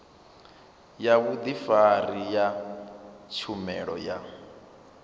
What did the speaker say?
ya vhudifari ya tshumelo ya